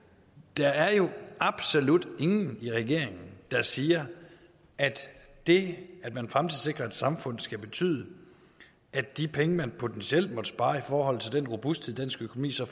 der er jo absolut ingen i regeringen der siger at det at man fremtidssikrer et samfund skal betyde at de penge man potentielt måtte spare i forhold til den robusthed dansk økonomi så